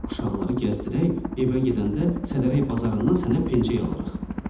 Quşaqları gəzdirək evə gedəndə Sədərək bazarından sənə pençəyi alarıq.